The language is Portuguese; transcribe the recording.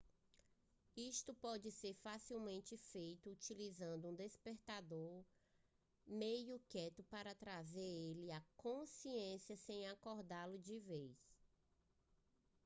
isto pode ser facilmente feito utilizando um despertador meio quieto para trazer ele à consciência sem acordá-lo de vez